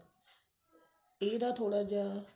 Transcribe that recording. ਇਹਦਾ ਥੋੜਾ ਜਾ